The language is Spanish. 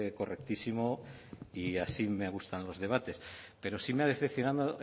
correctísimo y así me gustan los debates pero sí me ha decepcionado